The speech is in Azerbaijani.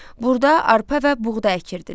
Burda arpa və buğda əkirdilər.